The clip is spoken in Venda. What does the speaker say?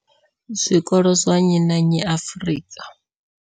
zwikolo zwa nnyi na nnyi Afrika.